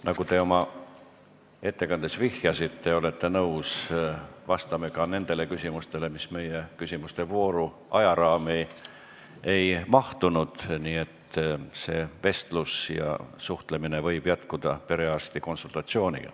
Nagu te oma ettekandes vihjasite, olete nõus vastama ka nendele küsimustele, mis meie küsimuste vooru ajaraami ei mahtunud, nii et see vestlus ja suhtlemine võib jätkuda perearsti konsultatsioonil.